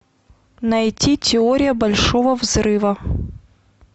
найти теория большого взрыва